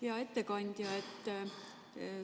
Hea ettekandja!